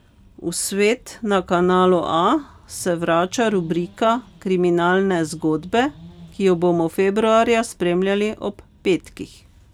V Svet na Kanalu A se vrača rubrika Kriminalne zgodbe, ki jo bomo februarja spremljali ob petkih.